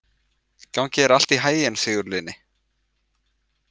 Gangi þér allt í haginn, Sigurlinni.